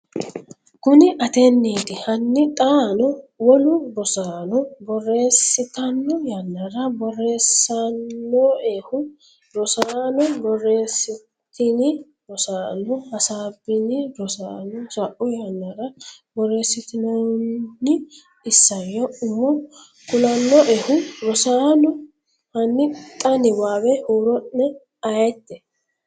Kuni ateenti? Hanni xaano wolu Rosaano borreessitanno yannara borreessannoehu? Rosaano borreessitini? Rosaano, hasaabbini? Rosaano sa’u yannara borreessitinoonni isayyo umo kulannoehu Rosaano, hanni xa niwaawe huuro’ne ayeeti?